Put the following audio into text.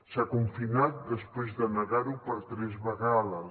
s’ha confinat després de negar ho per tres vegades